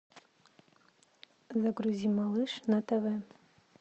загрузи малыш на тв